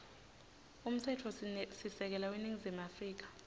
umtsetfosisekelo weningizimu afrika